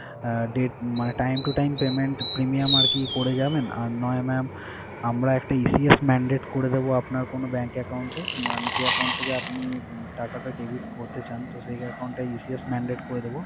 আহ date মানে time to time premium আরকি করে যাবেন। আর নয় mam আমরা একটা ECS mandate করে দেবো আপনার কোন bank account এ মানে যে account থেকে আপনি টাকাটা debit করতে চান। তো সেই account টা ECS mandate করে দেবো।